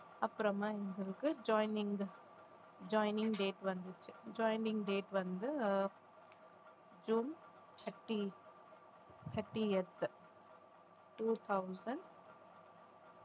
அப்புறமா எங்களுக்கு joining joining date வந்துச்சு joining date வந்து ஆஹ் June thirty thirtieth two thousand